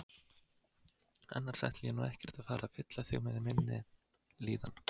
Annars ætla ég nú ekkert að vera að fylla þig með minni líðan.